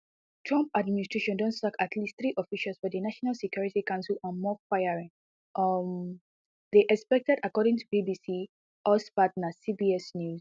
trump administration don sack at least three officials for di national security council and more firings um dey expected according to bbc us partner cbs news